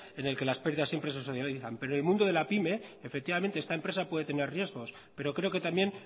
en el que las pérdidas siempre se socializan pero el mundo de la pyme efectivamente está empresa puede tener riesgos pero creo que también